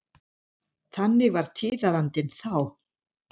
Þannig var tíðarandinn þá.